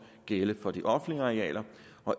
gælde for de offentlige arealer